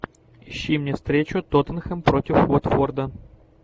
ищи мне встречу тоттенхэм против уотфорда